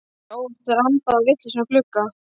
Hann hafi óvart rambað á vitlausan glugga.